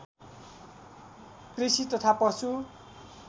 कृषि तथा पशु